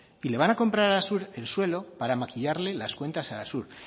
y le van a comprar a arasur el suelo para maquillarle las cuentas a arasur